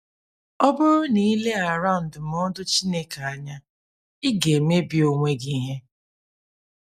Ọ bụrụ na ị leghara ndụmọdụ Chineke anya, ị ga-emebi onwe gị ihe.”